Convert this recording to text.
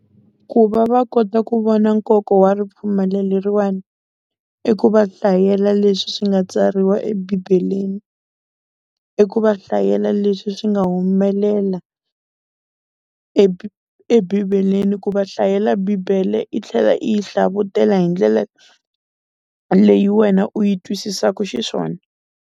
Ku va va kota ku vona nkoka wa ripfumelo leriwani i ku va hlayela leswi swi nga tsariwa ebibeleni, i ku va hlayela leswi swi nga humelela ebibeleni, ku va hlayela bibele i tlhela i yi hlavutela hi ndlela leyi wena u yi twisisaku xiswona.